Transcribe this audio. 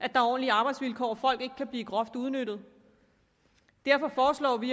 at der er ordentlige arbejdsvilkår og at folk ikke kan blive groft udnyttet derfor foreslår vi